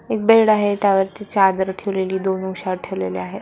एक बेड आहे त्यावरती चादर ठेवलेली दोन उषा ठेवलेल्या आहेत.